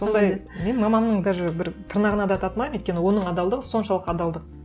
сондай мен мамамның даже бір тырнағына да татымаймын өйткені оның адалдығы соншалық адалдық